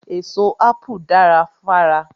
Èso Ápù dara fára.